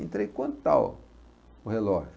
Entrei, quanto está o o relógio?